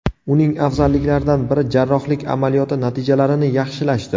Uning afzalliklaridan biri jarrohlik amaliyoti natijalarini yaxshilashdir.